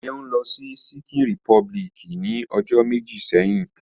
Seun lo si Ṣikin Repubiliki ni ojo meji seyin.